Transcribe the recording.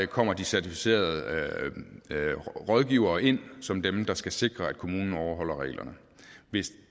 kommer de certificerede rådgivere ind som dem der skal sikre at kommunen overholder reglerne hvis